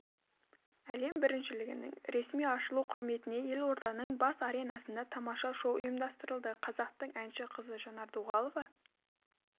әлем біріншілігінің ресми ашылу құрметіне елорданың барыс аренасында тамаша шоу ұйымдастырылды қазақтың әнші қызы жанар дұғалова